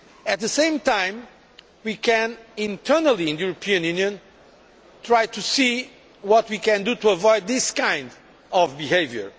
At the same time we can internally in the European Union try to see what we can do to avoid this kind of behaviour.